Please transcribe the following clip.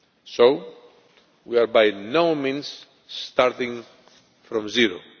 So we are by no means starting from zero.